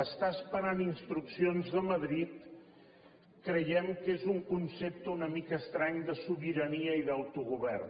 estar esperant instruccions de madrid creiem que és un concepte una mica estrany de sobirania i d’autogovern